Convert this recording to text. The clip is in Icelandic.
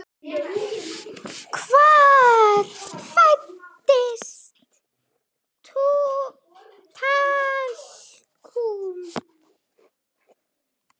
Hvar fæst talkúm?